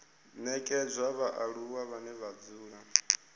nekedzwa vhaaluwa vhane vha dzula